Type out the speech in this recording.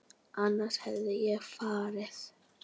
Annars hefði ég farið.